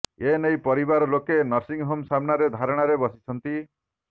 ଏ ନେଇ ପରିବାର ଲୋକେ ନର୍ସିଂହୋମ୍ ସାମ୍ନାରେ ଧାରଣାରେ ବସିଛନ୍ତି